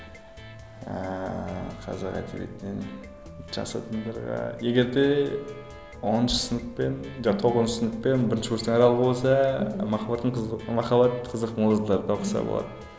ыыы қазақ әдебиетінен жас адамдарға егерде оныншы сынып пен жоқ тоғызыншы сынып пен бірінші курстың аралығы болса махаббаттың қызық махаббат қызық мол жылдарды оқыса болады